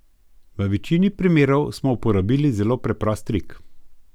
V večini primerov smo uporabili zelo preprost trik.